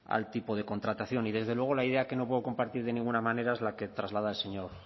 al tipo de contratación y desde luego la idea que no puedo compartir de ninguna manera es la que traslada el señor